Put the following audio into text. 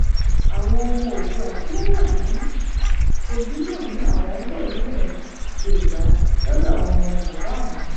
àwọn ọmọ oòdùà tí wọn wà ní kogi náà ni àwọn ń bọ nílẹ yorùbá lọdọ àwọn ọmọ bàbá àwọn